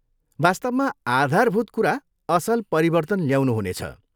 वास्तवमा, आधारभूत कुरा असल परिवर्तन ल्याउनु हुनेछ।